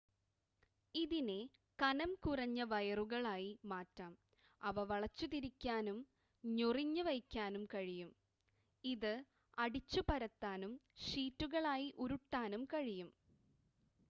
ഇതിനെ കനം കുറഞ്ഞ വയറുകളായി മാറ്റാം അവ വളച്ചുതിരിക്കാനും ഞൊറിഞ്ഞ് വയ്ക്കാനും കഴിയും ഇത് അടിച്ചു പരത്താനും ഷീറ്റുകളായി ഉരുട്ടാനും കഴിയും